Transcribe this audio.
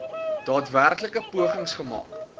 daadwerklike pogings gemaak